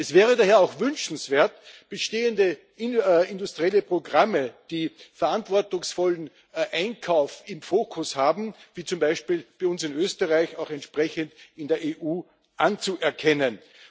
Es wäre daher auch wünschenswert, bestehende industrielle Programme, die verantwortungsvollen Einkauf im Fokus haben wie zum Beispiel bei uns in Österreich auch entsprechend in der EU anzuerkennen.